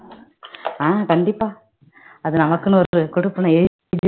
ஆஹ் கண்டிப்பா அது நமக்குன்னு ஒரு கொடுப்பினை